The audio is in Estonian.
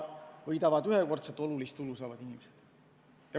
Võidavad ühekordset olulist tulu saavad inimesed.